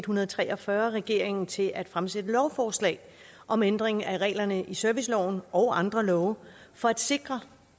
hundrede og tre og fyrre regeringen til at fremsætte lovforslag om ændring af reglerne i serviceloven og andre love for at sikre